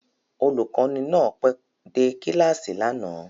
Olùkọ́ni náà pẹ́ dé kíláàsì lánàá